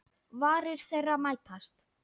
Varir þeirra mætast.